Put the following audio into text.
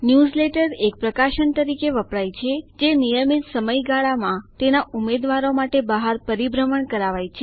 newsletter એક પ્રકાશન તરીકે વપરાય છે જે નિયમિત સમય ગાળામાં તેના ઉમેદવારો માટે બહાર પરિભ્રમણ કરાવાય છે